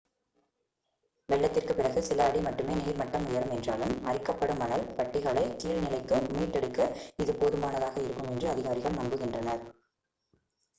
வெள்ளத்திற்குப் பிறகு சில அடி மட்டுமே நீர் மட்டம் உயரும் என்றாலும் அரிக்கப்படும் மணல் பட்டிகளைக் கீழ்நிலைக்கு மீட்டெடுக்க இது போதுமானதாக இருக்கும் என்று அதிகாரிகள் நம்புகின்றனர்